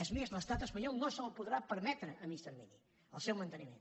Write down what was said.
és més l’estat espanyol no se’l podrà permetre a mitjà termini el seu manteniment